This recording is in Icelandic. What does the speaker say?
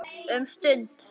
Um stund.